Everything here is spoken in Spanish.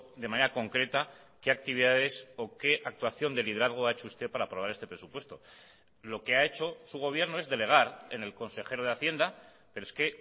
de manera concreta qué actividades o qué actuación de liderazgo ha hecho usted para aprobar este presupuesto lo que ha hecho su gobierno es delegar en el consejero de hacienda pero es que